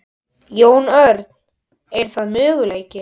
Jón Örn: Er það möguleiki?